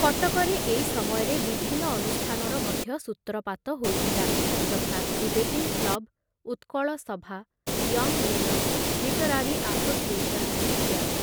କଟକରେ ଏଇ ସମୟରେ ବିଭିନ୍ନ ଅନୁଷ୍ଠାନର ମଧ୍ୟ ସୂତ୍ରପାତ ହୋଇଥିଲା ଯଥା ଡିବେଟିଂ କ୍ଲବ, ଉତ୍କଳ ସଭା, ୟଙ୍ଗ ମେନସ ଲିଟରାରୀ ଆସୋସିଏଶନ ଇତ୍ୟାଦି